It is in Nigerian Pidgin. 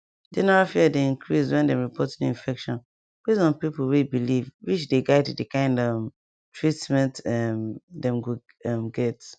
general fear dey increase when dem report new infection base on pipo way believewhich dey guide the kind um treatment um dem go um get